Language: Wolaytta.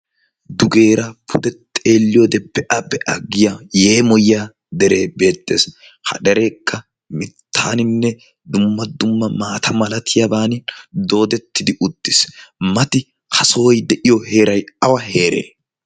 Dugeera pude xeelliyoodee be'a be'a yaggiya yeemoyiya deree beettees. Ha dereekka mittaaninne dumma dumma maata malatiyaaban doodettidi uttiis. Mati ha sohoy de'iyo heeray awa heeree?